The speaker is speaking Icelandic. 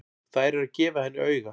Þær eru að gefa henni auga.